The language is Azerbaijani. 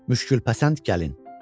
Müşkültəsənd gəlin.